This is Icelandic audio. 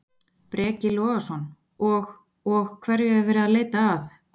Breki Logason: Og, og hverju er verið að leita að?